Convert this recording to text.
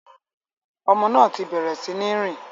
Ọmọ náà ti bẹ̀rẹ̀ sí ní rìn.